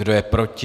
Kdo je proti?